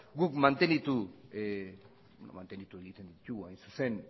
guk mantendu egiten ditugu hain zuzen